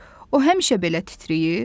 O həmişə belə titrəyir?